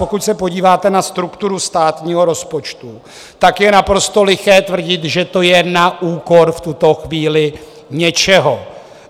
Pokud se podíváte na strukturu státního rozpočtu, tak je naprosto liché tvrdit, že to je na úkor v tuto chvíli něčeho.